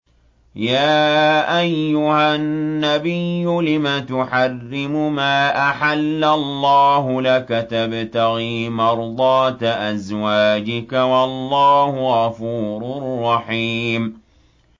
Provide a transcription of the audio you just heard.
يَا أَيُّهَا النَّبِيُّ لِمَ تُحَرِّمُ مَا أَحَلَّ اللَّهُ لَكَ ۖ تَبْتَغِي مَرْضَاتَ أَزْوَاجِكَ ۚ وَاللَّهُ غَفُورٌ رَّحِيمٌ